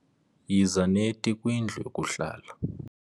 Yiza neti kwindlu yokuhlala.